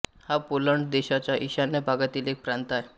हा पोलंड देशाच्या ईशान्य भागातील एक प्रांत आहे